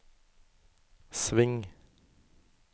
sving